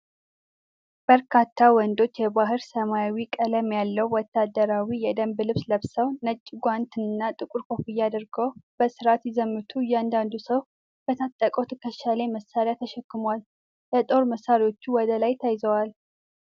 በርካታ ወንዶች የባሕር ሰማያዊ ቀለም ያለው ወታደራዊ የደንብ ልብስ ለብሰው፣ ነጭ ጓንት እና ጥቁር ኮፍያ አድርገው በሥርዓት ሲዘምቱ፣ እያንዳንዱ ሰው በታጠቀው ትከሻው ላይ መሣሪያ ተሸክሟል፤ የጦር መሣሪያዎቹም ወደ ላይ ተያይዘዋል።